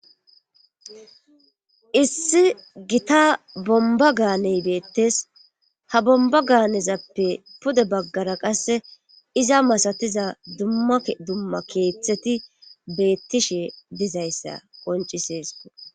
Issi gita bomba gaaney beettes ha bomba gaanezappe pude baggara qasse iza masatiza dumma dumma keeththeti beettishe dizayssa qoncisees.